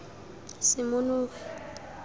semonogi